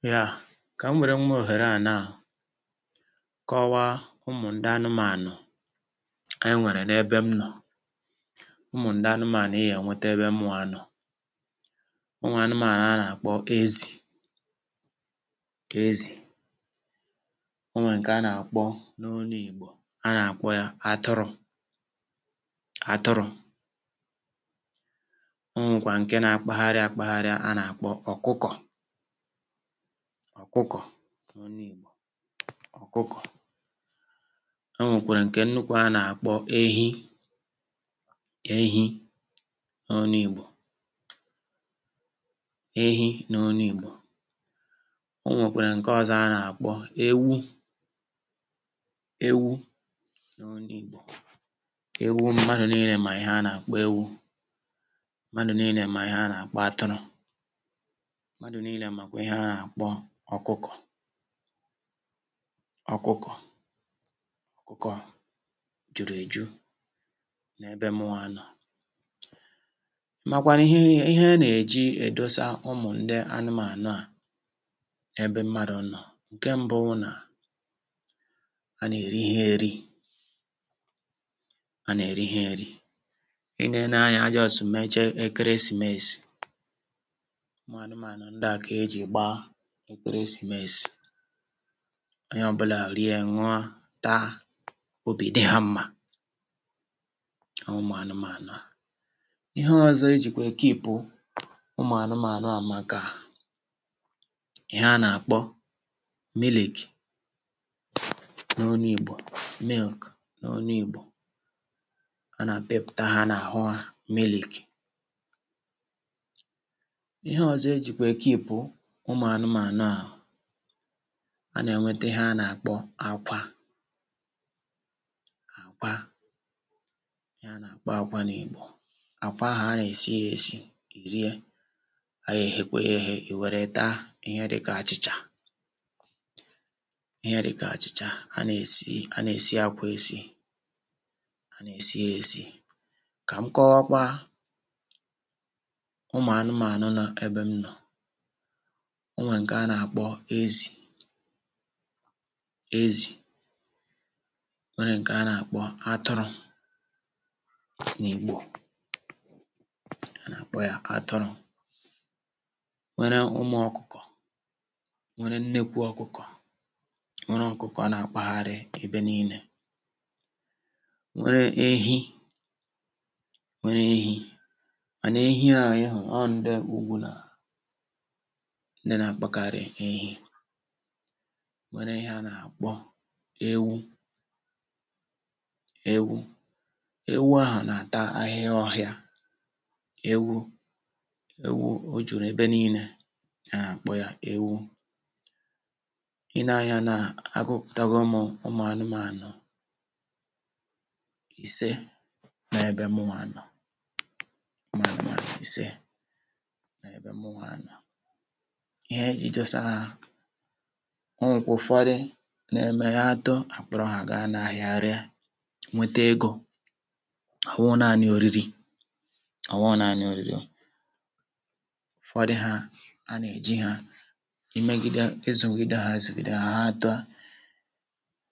[paise] Nya, ka m were nwa ohere a naa, kọwaa ụmụ ndị anụmanụ anyi nwere na-ebe m nọ, ụmụ ndị anụmanụ ị ga enweta ebe mụa nọ. Onwee anụmanụ a na-akpọ ezì ezì. Onwee nke a na-akpọ n’onu igbo a na-akpọ ya *atụrụ" "atụrụ". O nwe kwaa nke na-akpagharị akpagharị a na-akpọ ọkụkọ ọkụkọ ọkụkọ n'onu igbo, ọkụkọ. E nwèkwèrè ǹkè nnukwu a nà-àkpọ ehi ehi n'olu ìgbo ehi n'olu Igbo. O nwèkwèrè ǹke ọzọ a nà-àkpọ ewu ewu n'olu Igbo ewu mmadụ niile mà ihe a nà-àkpọ ewu, mmadụ niile mà ihe a nà-àkpọ atụrụ, mmadụ niile makwa ihe a n-akpọ ọkụkọ ọkụkọ jụrụ ejụ n’ebe mụnwa nọ. Ị màkwanụ ihe a na-eji edosa ụmụ̀ndị anụmànụ à ebe mmadụ nọ̀: Nke mbụ wụ na a na-eri ha eri a na-eri ha eri. I nee nee anya, ajọsụụ mechee ekeresimesi. Ọ kwa anụmanụ ndịa k'eji gbaa ekeresimesi. Onye ọ bụla rie, ṅụọ, taa, obi dị ha mma, ọọ ụmụanụmànụ̀ a. Ihe ọzọ e jikwa ekeepu ụmụ̀ anụmànụ̀ a bụ maka ihe a na-akpọ mịlịkị n’olu igbò milik n’olu igbò a na-pịpụta ha n’ahụ ha. Ihe ọzo e ji kwa ekeepu ụmụ̀anụmaanụ a ha a nà-ènwete ihe a nà-àkpọ akwa àkwa, ihe a nà-àkpọ akwa n’ìgbò. Akwa ahụ̀ a nà-èsi ya esi, rie. A ya eghekwa ya èghe, ì wère taa ihe dikà àchị̀chà ihe dikà àchị̀chà a nà-èsi a nà-èsi akwa esi a nà-èsi ya esi. Ka m kọwakwaa ụmụ̀anụmaanụ̀ nọ ebe m nọ̀: O nwe nke a na-akpọ ezì ezì, o nwere nke a na-akpọ atụrụ, n'igbo a na-akpọ ya atụrụ, nwere ụmụ ọkụkọ, nwere nnekwu ọkụkọ, nwere ọkụkọ a na-akpagharị ebe niile, nwere ehi, nwere ehi mana ehi a ị hụụ, ọọ ndị ugwu na ndị na-akpakarị ehi, nwere ihe a na-akpọ ewu ewu ewu ahụ na-ata ahịhịa ọhịa, ewu ewu o juru ebe niilė a na-kpọ ya ewu. I nee anya na agụpụtago m ụmụ̀anụmànụ̀ ise n'ebe mụnwa nọ̀ ụmụ̀anụmànụ̀ ise n'ebe mụnwa nọ. Ihe e ji dosa ha, o nwekwuu ụfọdụ na-eme ha too a kpụrụ ha gaa n’ahịa ga ree nweta egȯ, ọ wụụ naanị oriri ọ wụụ naanị oriri. Ụfọdụ ha, a na-eji ha ime gịde izugide ha azugide ha too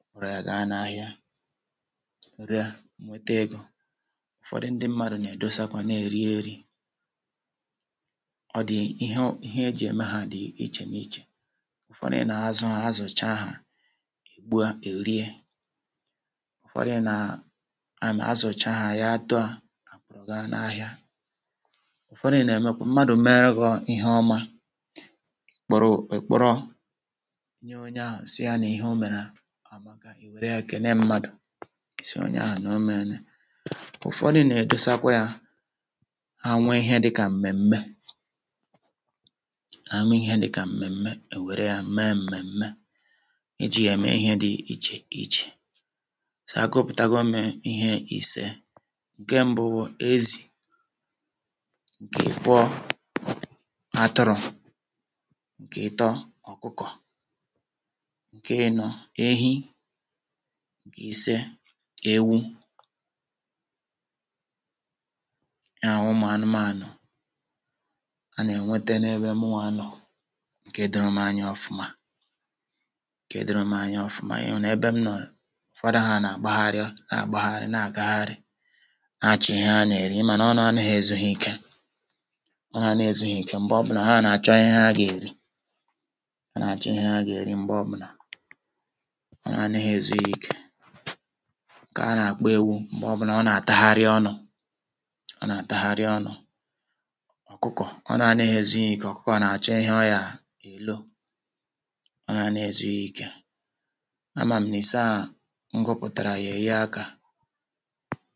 e werụ ya gaa n’ahịa, ree, nwete egȯ. Ụfọdụ ndị mmadụ na-edosa kwa na-eri eri, ọ dị ihe e ji e me ha dị n'iche n'iche. Ụfọdụ̀ nà-azụ ha, azụchaa ha, e gbuo ha erie, ụfọdụ̀ nà a nà-azụcha ha ya too a kpụrụ gaa n’ahịa. Ụfọdụ̀ nà-emekwa, mmadụ̀ mee gọọ ihe ọma, ị kpọrọ èkpọrọ nye onye ahụ si ya n'ihe omèrè à maka, ì wère ya kelee mmadụ, sị onye ahụ n’omeele. Ụfọdụ na-edosa kwa ya ha nwee ihe dịkà m̀mèm̀me ha nwee ihe dị ka mmemme, ha ewere ya mee mme mme i ji ya eme ihe dị iche iche. so, agụpụtago m ihe ise: Nke mbụ bụ ezi, nke ịbụọ atụrụ, nke ịtọ ọkụkọ, nke ịnọ ehi, nke ise ewu Ya wụ ụmụanụmanụ a na-enwete n'ebe mụnwa nọ nke dorom anya ọfụma nke dorom anya ọfụma. Even ebe m nọọ, ụfọdụ ha na-agbagharị na-agbagharị, na-agagharị na-achọ ihe ha na-eri, ịma na ọnụ anaghị ezu ha ike anaghị ezu ha ike, mgbe ọbụna ha na-achọ ihe ha ga-eri ha na-achọ ihe ha ga-eri mgbe ọbụna, ọnụ anaghị ezu ha ike. Nke a na-akpọ ewu mgbe ọbụna ọ na-atagharị ọnụ ọ na-atagharị ọnụ, ọkụkọ ọnụ anaghị ezu ya ike ọkụkọ ọ na-achọ ihe ọ ga-elo, ọnụ anaghị ezu ya ike. A ma m n'ise a m gụpụtara ya enye aka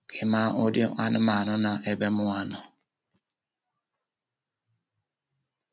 ka ị maa ụdị anụmaanụ nọ ebe mụnwa nọ.